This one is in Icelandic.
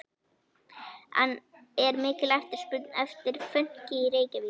En er mikil eftirspurn eftir fönki í Reykjavík?